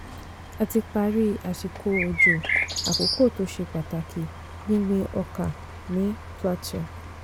a ti parí àsìkò òjò àkọ́kọ́ tó ṣe pàtàkì gbíngbin ọkà ní plateau.